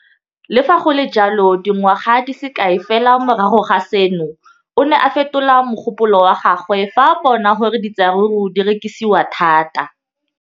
Le fa go le jalo, dingwaga di se kae fela morago ga seno, o ne a fetola mogopolo wa gagwe fa a bona gore diratsuru di rekisiwa thata.